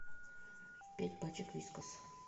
пять пачек вискас